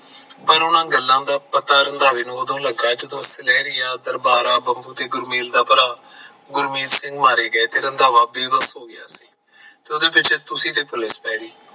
ਪਰ ਉਹਨਾਂ ਗੱਲਾਂ ਦਾ ਪਤਾ ਰੰਧਾਵੇ ਨੂੰ ਉਦੋਂ ਲੱਗਾ ਜਦੋਂ ਸੁਨਹਿਰੀਆਂ ਦਰਬਾਰਾ ਬਹੁ ਤੇ ਗੁਰਮੇਲ ਦਾ ਭਰਾ ਗੁਰਮੇਲ ਸਿੰਘ ਮਾਰਿਆ ਗਿਆ ਤੇ ਰੰਧਾਵੇ ਬੇਵੱਸ ਹੋ ਗਿਆ ਉਹਦੇ ਤੇ ਪੁਲਿਸ ਦੀ raid ਪੈ ਗਈ